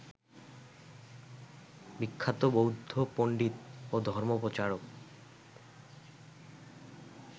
বিখ্যাত বৌদ্ধ পন্ডিত ও ধর্মপ্রচারক